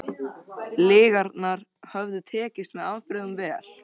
Lygarnar höfðu tekist með afbrigðum vel.